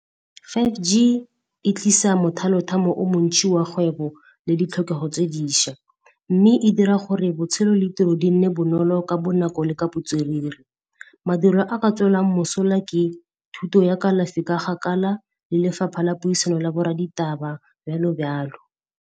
five G e tlisa mothalo-thamo o montsi wa kgwebo le ditlhokego tse diša, mme e dira gore botshelo le tiro di nne bonolo ka bonako le ka botswerere. Madulo a ka tswelang mosola ke thuto ya kalafi ka gakala le lefapha la puisano la bo rra ditaba jalo jalo.